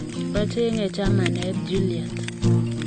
Achenge chamanet juliet.